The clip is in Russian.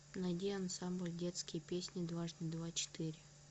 найди ансамбль детские песни дважды два четыре